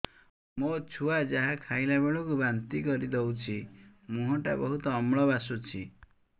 ମୋ ଛୁଆ ଯାହା ଖାଇଲା ବେଳକୁ ବାନ୍ତି କରିଦଉଛି ମୁହଁ ଟା ବହୁତ ଅମ୍ଳ ବାସୁଛି